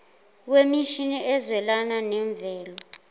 wemishini ezwelana nemvelo